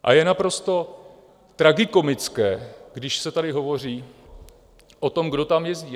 A je naprosto tragikomické, když se tady hovoří o tom, kdo tam jezdí.